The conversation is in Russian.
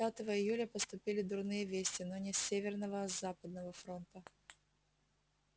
пятого июля поступили дурные вести но не с северного а с западного фронта